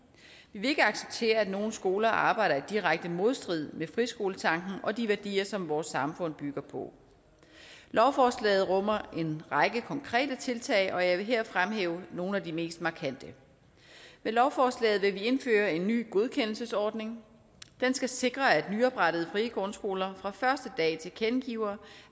vil ikke acceptere at nogle skoler arbejder i direkte modstrid med friskoletanken og de værdier som vores samfund bygger på lovforslaget rummer en række konkrete tiltag og jeg vil her fremhæve nogle af de mest markante med lovforslaget vil vi indføre en ny godkendelsesordning den skal sikre at nyoprettede frie grundskoler fra første dag tilkendegiver